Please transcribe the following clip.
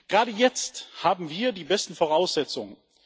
Gerade jetzt haben wir die besten Voraussetzungen.